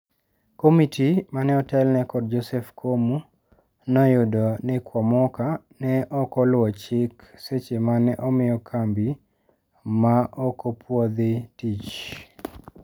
Komiti mane otelne kod Joseph Komu noyudo ni kwamoka ne okoluo chik seche mane omiyo kambi ma okopuodhi tich.